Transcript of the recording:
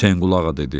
Hüseyn qulağa dedi: